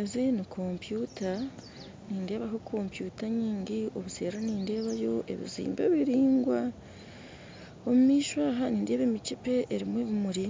Ezi nikomputa nindebaho komputa nyingi obuseri nindeebayo ebizimbe biringwa, omumisho aha nindeeba emichepe erimu ebimuri,